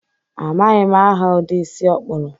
Amaghị m aha ụdi isi ọ kpuru